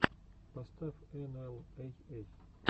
поставь энуэл эй эй